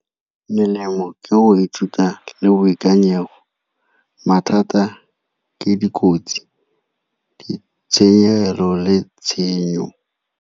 Melemo ke go ithuta le boikanyego. Mathata ke dikotsi, ditsheyegelo le tshenyo.